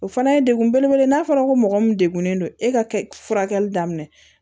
O fana ye degun belebele ye n'a fɔra ko mɔgɔ min degunnen don e ka furakɛli daminɛ